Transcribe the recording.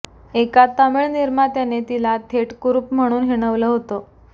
एका तामिळ निर्मात्याने तिला थेट कुरुप म्हणून हिणवलं होतं